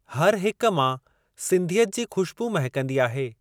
हर हिक मां सिंधियत जी खु़श्बू महकंदी आहे।